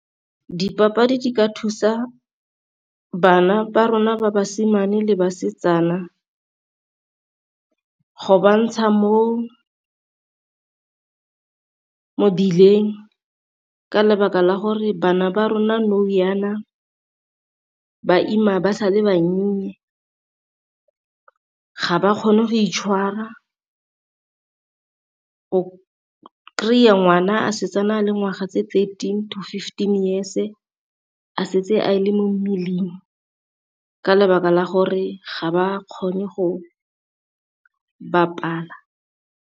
Dipapadi di ka thusa bana ba rona ba basimane le basetsana go bantsha mo mebileng, ka lebaka la gore bana ba rona nou jaana ba ima ba sa le bannye ga ba kgone go itshwara. O kry-a ngwana a setse a na le ngwaga tse tse thirteen to fifteen years a setse a le mo mmeleng, ka lebaka la gore ga ba kgone go bapala.